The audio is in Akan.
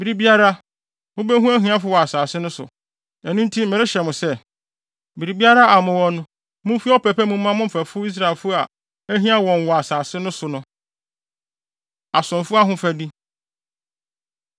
Bere biara, mubehu ahiafo wɔ asase no so. Ɛno nti merehyɛ mo sɛ, biribiara a mowɔ no, mumfi ɔpɛ pa mu mma mo mfɛfo Israelfo a ahia wɔn wɔ asase no so no. Asomfo Ahofadi